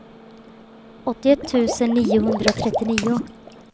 åttioett tusen niohundratrettionio